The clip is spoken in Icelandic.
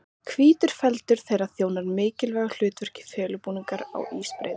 Hvítur feldur þeirra þjónar mikilvægu hlutverki sem felubúningur á ísbreiðunum.